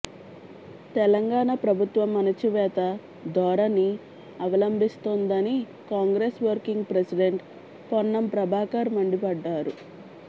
తెలంగాణ ప్రభుత్వం అణచివేత దోరని అవలంభిస్తోందని Congress working president Ponnam Prabhakar మండిపడ్డారు